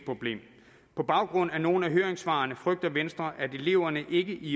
problem på baggrund af nogle af høringssvarene frygter venstre at eleverne i